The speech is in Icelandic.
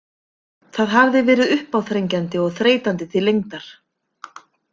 Það hafði verið uppáþrengjandi og þreytandi til lengdar.